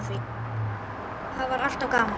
Það var alltaf gaman.